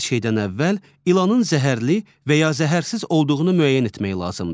Hər şeydən əvvəl ilanın zəhərli və ya zəhərsiz olduğunu müəyyən etmək lazımdır.